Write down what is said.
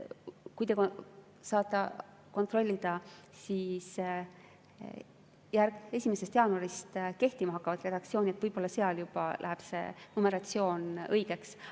Kui te saate kontrollida 1. jaanuarist kehtima hakkavat redaktsiooni, siis võib-olla seal juba läheb see numeratsioon õigeks.